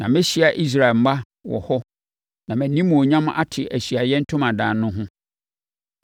Na mɛhyia Israel mma wɔ hɔ na mʼanimuonyam ate Ahyiaeɛ Ntomadan no ho.